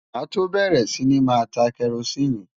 Màá tó bẹ̀rẹ̀ sí ní máa ta kẹrosíìnì.